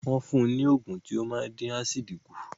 Wọ́n fún un ní ògùn tí ó máa dín ásìdì kù